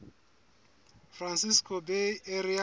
francisco bay area